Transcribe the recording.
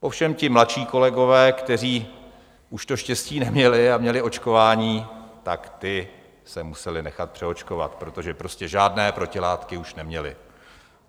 Ovšem ti mladší kolegové, kteří už to štěstí neměli a měli očkování, tak ti se museli nechat přeočkovat, protože prostě žádné protilátky už neměli.